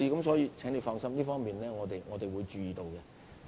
所以，請柯議員放心，這方面我們會注意。